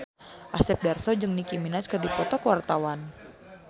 Asep Darso jeung Nicky Minaj keur dipoto ku wartawan